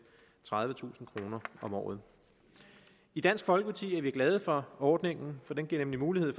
tredivetusind kroner om året i dansk folkeparti er vi glade for ordningen for den giver nemlig mulighed